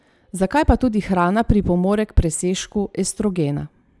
Zakaj pa tudi hrana pripomore k presežku estrogena?